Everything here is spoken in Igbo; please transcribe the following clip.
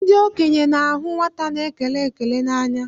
Ndị okenye na-ahụ nwata na-ekele ekele n'anya